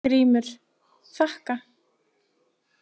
GRÍMUR: Þakka.